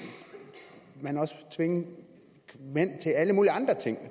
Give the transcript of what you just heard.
man også tvinge mænd til alle mulige andre ting